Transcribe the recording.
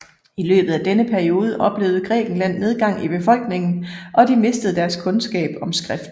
I løbet af denne periode oplevede Grækenland nedgang i befolkningen og de mistede deres kundskab om skrift